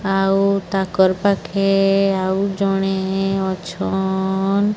ଆଉ ତାକର୍ ପାଖେ ଆଉ ଜଣେ ଅଛନ୍।